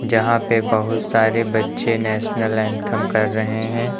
यहां पे बहुत सारे बच्चे नेशनल एंथम कर रहे हैं।